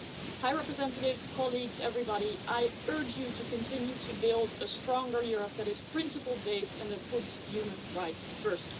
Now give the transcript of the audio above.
High Representative, colleagues, everybody, I urge you to continue to build a stronger Europe that is principle based and that puts human rights first.